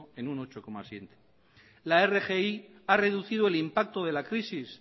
en un ocho coma siete por ciento la rgi ha reducido el impacto de la crisis